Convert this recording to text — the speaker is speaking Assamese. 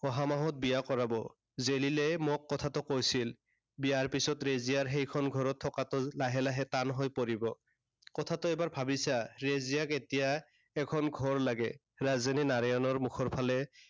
অহা মাহত বিয়া কৰাব। জেৰিলে মোক কথাটো কৈছিল। বিয়াৰ পাছত ৰেজিয়াই সেইখন ঘৰত থকাটো লাহে লাহে টান হৈ পৰিব। কথাটো এবাৰ ভাবি চা। ৰেজিয়াক এতিয়া এখন ঘৰ লাগে। ৰাজেনে নাৰায়ণৰ মুখৰ ফালে